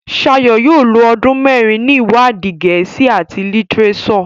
Shayo yóò ló ọdún mérin ní iwadi Gèésì at litireso.